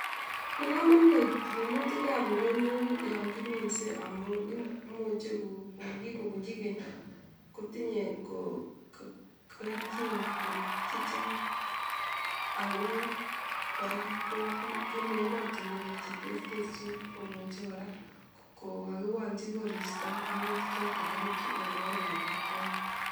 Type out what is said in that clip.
Bo komonut minutikab ndonyo yon kiminsei amun imuchei ko kikubunji keny kotinyei keljin korut chechang ako kora ko bunu emotunwek che terterchin komuche kora kokakiwolchi koristo minutik choto korutu eng oret nebo kwong'ut